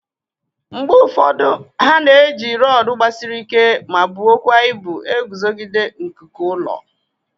Mgbe ụfọdụ a na-eji rọọdụ gbasiri ike ma buo kwa ibu eguzogide nkuku ụlọ.